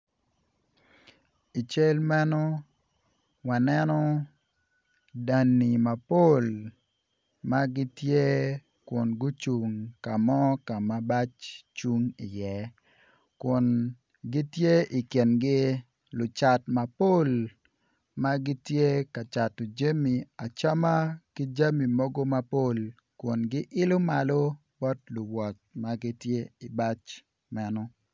I cal meno waneno danni mapol ma gitye kun gucung ka mo ka ma bac cung iye kun gityen i kingi lucat mapol ma gitye kacato jami acama ki jami mogo mapol kun gilo malo bot luwot ma gitye i ibac meno